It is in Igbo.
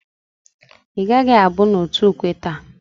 I gaghi abu n'otu ukwe taa?